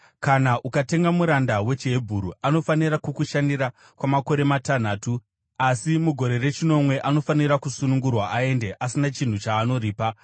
“Kana ukatenga muranda wechiHebheru, anofanira kukushandira kwamakore matanhatu. Asi mugore rechinomwe, anofanira kusunungurwa aende, asina chinhu chaanoripa.